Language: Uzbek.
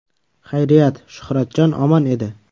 Xayriyat, Shuhratjon omon edi.